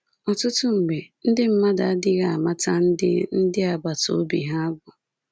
Ọtụtụ mgbe, ndị mmadụ adịghị amata ndị ndị agbata obi ha bụ.